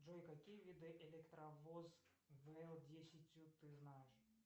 джой какие виды электровоз вл десять ты знаешь